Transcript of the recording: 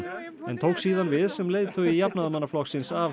en tók síðan við sem leiðtogi Jafnaðarmannaflokksins af